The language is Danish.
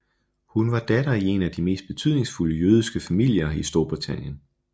Hun var datter i en af de mest betydningsfulde jødiske familier i Storbritannien